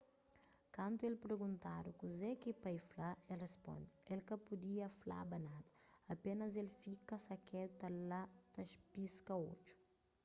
kantu el perguntadu kuze ki pai fla el risponde el ka pudia flaba nada apénas el fika sakedu la ta piska odju